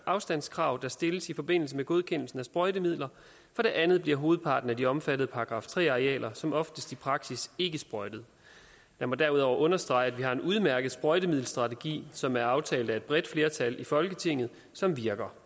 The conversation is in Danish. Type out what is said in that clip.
afstandskrav der stilles i forbindelse med godkendelsen af sprøjtemidler for det andet bliver hovedparten af de omfattede § tre arealer som oftest i praksis ikke sprøjtet lad mig derudover understrege at vi har en udmærket sprøjtemiddelstrategi som er aftalt af et bredt flertal i folketinget som virker